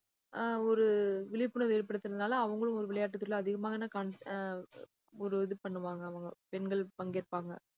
அஹ் ஒரு விழிப்புணர்வு ஏற்படுத்துனதுனால, அவங்களும் ஒரு விளையாட்டுத் துறையில அதிகமான cons~ அஹ் ஒரு இது பண்ணுவாங்க அவங்க பெண்கள் பங்கேற்பாங்க